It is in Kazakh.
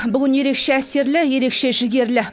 бүгін ерекше әсерлі ерекше жігерлі